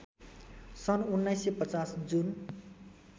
सन् १९५० जुन